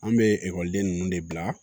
An bɛ ekɔliden ninnu de bila